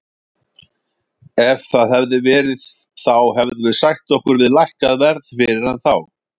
Ef það hefði verið þá hefðum við sætt okkur við lækkað verð fyrir hann þá.